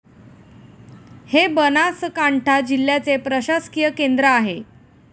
हे बनासकांठा जिल्ह्याचे प्रशासकीय केंद्र आहे.